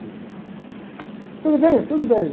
Inclusive. Tudo bem? Tudo bem.